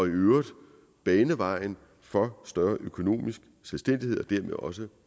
i øvrigt kan bane vejen for større økonomisk selvstændighed og dermed også